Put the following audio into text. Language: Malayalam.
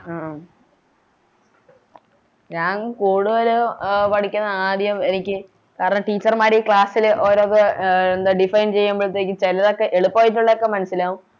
അഹ് ആഹ് ഞാൻ കൂടുതലും എ പഠിക്കുന്നത് ആദ്യം എനിക്ക് കാരണം Teacher മാര് ഈ Class ല് ഓരോന്ന് Define ചെയ്യുമ്പഴത്തേയ്ക്കും ചെലതൊക്കെ എളുപ്പായിട്ടുള്ളതൊക്കെ മനസ്സിലാകും